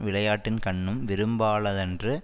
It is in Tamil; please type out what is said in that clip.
விளையாட்டின்கண்ணும் விரும்பாலதன்று